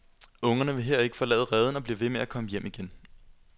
Ungerne vil her ikke forlade reden og bliver ved med at komme hjem igen.